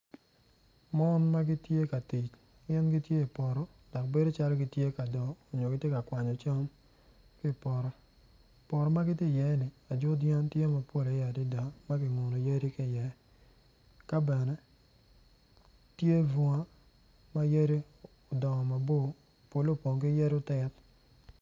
Mon ma gitye ka tic gin gitye i poto gitye i yeya dok gin gitye ka mako rec gin gitye ka tic ki goli ma odone tye mabit kun giyuto ki rec piny i kabedo tye bunga ma yadi odongo mabor polle opong ki yadi otit.